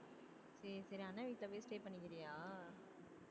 சரி சரி அண்ணா வீட்டுல போய் stay பண்ணிக்கிறியா